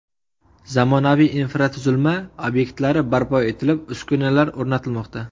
Zamonaviy infratuzilma obyektlari barpo etilib, uskunalar o‘rnatilmoqda.